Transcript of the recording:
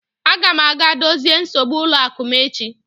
Aga m aga dozie nsogbu ụlọ akụ m echi.